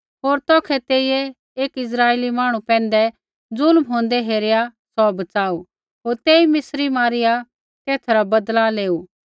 होर तौखै तेइयै एकी इस्राइली मांहणु पैंधै ज़ुल्म होंदै हेरिआ सौ बच़ाऊ होर तेई मिस्री मारिआ तेथा रा बदला लेऊ